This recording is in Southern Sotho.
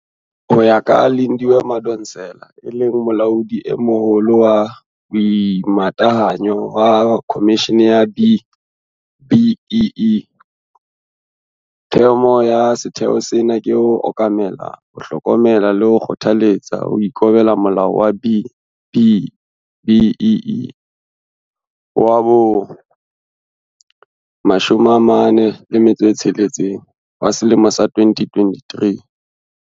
Ho ya ka Lindiwe Madonsela, e leng Molaodi e Moholo wa Boimatahanyo wa Khomishene ya B-BBEE, thomo ya setheo sena ke ho okamela, ho hlokomela le ho kgothaletsa ho ikobela Molao wa B-BBEE wa bo-46 wa selemo sa 2013.